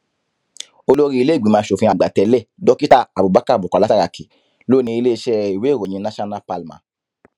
olórí iléìgbìmọ asòfin àgbà tẹlé dókítà abubakar bukola saraki ló ní iléeṣẹ ìwé ìròyìn national palma